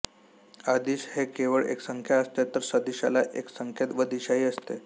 अदिश ही केवळ एक संख्या असते तर सदिशाला एक संख्या व दिशाही असते